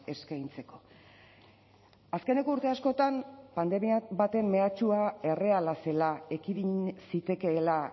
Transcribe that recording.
eskaintzeko azkeneko urte askotan pandemiak baten mehatxua erreala zela ekidin zitekeela